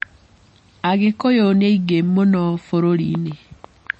Agĩkũyũ nĩ aingĩ mũno bũrũri-inĩ.